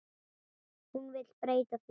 Hún vill breyta því.